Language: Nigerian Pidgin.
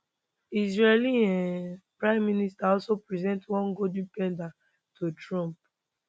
israeli um prime minister also present one golden pager to trump